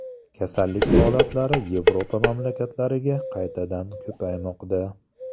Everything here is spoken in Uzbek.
Kasallik holatlari Yevropa mamlakatlariga qaytadan ko‘paymoqda.